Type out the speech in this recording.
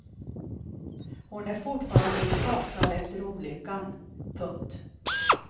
Hon är fortfarande skakad efter olyckan. punkt